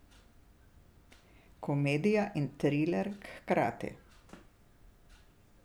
Komedija in triler hkrati ...